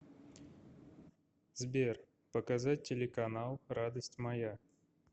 сбер показать телеканал радость моя